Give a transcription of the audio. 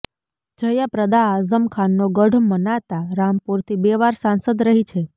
જયા પ્રદા આઝમ ખાનનો ગઢ મનાતા રામપુરથી બે વાર સાંસદ રહી છે